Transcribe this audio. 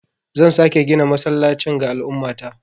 Zan sake gina masallacin ga al'ummata.